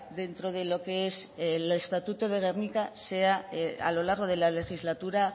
dentro de lo que es el estatuto de gernika sea a lo largo de la legislatura